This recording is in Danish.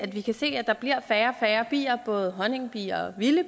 vi kan se at der bliver færre og færre bier både honningbier og vilde